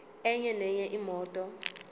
enye nenye imoto